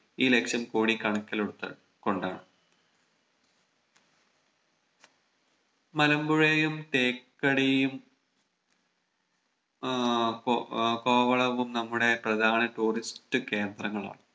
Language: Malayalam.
ഈ ലക്‌ഷ്യം കൂടി കണക്കിലെടുത്ത് കൊണ്ടാണ് മലമ്പുഴയും തേക്കടിയും ആഹ് കോ കോവളവും നമ്മുടെ പ്രധാന Tourist കേന്ദ്രങ്ങളാണ്